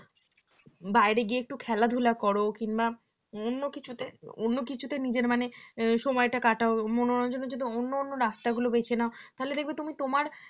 বাইরে গিয়ে একটু খেলা ধুলা করো কিংবা অন্য কিছুতে অন্য কিছুতে নিজের মানে সময়টা কাটাও মনোরঞ্জনের জন্য অন্য অন্য রাস্তাগুলো বেছে নাও